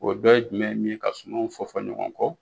O dɔ ye jumɛn ye min ka sumanw fɔ fɔ ɲɔgɔn kɔ.